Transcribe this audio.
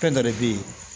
Fɛn dɔ de bɛ yen